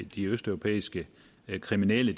de østeuropæiske kriminelle